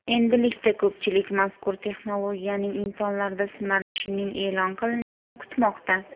Endilikda ko‘pchilik mazkur texnologiyaning insonlarda sinalishining e’lon qilinishini kutmoqda.